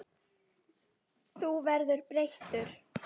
Þú verður breyttur.